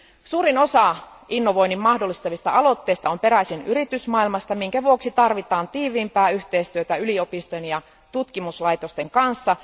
Suurin osa innovoinnin mahdollistavista aloitteista on peräisin yritysmaailmasta, minkä vuoksi tarvitaan tiiviimpää yhteistyötä yliopistojen ja tutkimuslaitosten kanssa.